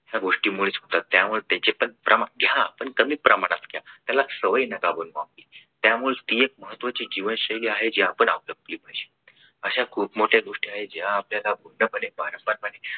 या गोष्टींमुळे होतात. त्यामुळे त्याचे त्याचे पण प्रमाण घ्या पण कमी प्रमाणात घ्या त्याला सवय नका बनवू आपली त्यामुळे ती एक महत्त्वाची जीवन शैली आहे जी आपण आपलवली पाहिजे अशा खूप मोठ्या गोष्टी आहेत की ज्या आपल्याला पूर्णपणे पारंपरिक